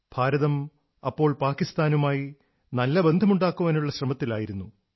ഭാരതം അപ്പോൾ പാകിസ്താനുമായി നല്ല ബന്ധമുണ്ടാക്കാനുള്ള ശ്രമത്തിലായിരുന്നു